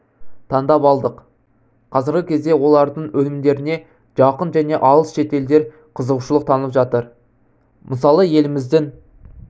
таңдап алдық қазіргі кезде олардың өнімдеріне жақын және алыс шетелдер қызығушылық танытып жатыр мысалы еліміздің